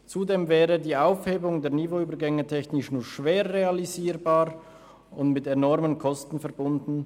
Zudem wäre die Aufhebung der Niveauübergänge technisch nur schwer realisierbar und mit enormen Kosten verbunden.